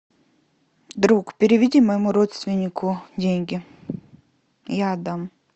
друг переведи моему родственнику деньги я отдам